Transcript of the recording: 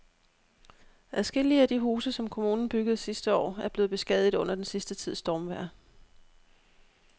Adskillige af de huse, som kommunen byggede sidste år, er blevet beskadiget under den sidste tids stormvejr.